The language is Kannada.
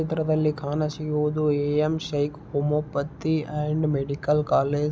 ಚಿತ್ರದಲ್ಲಿ ಕಾಣಿಸಿಯೋದು AM. Shaikh homeopathy and medical college .